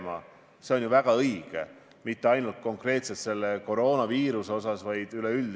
Ma tahan täiesti siiralt tunnustada sind tänase esinemise eest.